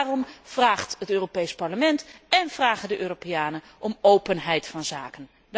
Daarom vraagt het Europees Parlement én vragen de Europeanen om openheid van zaken.